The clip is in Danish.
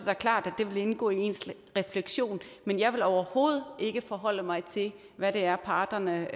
da klart at det vil indgå i ens refleksioner men jeg vil overhovedet ikke forholde mig til hvad det er parterne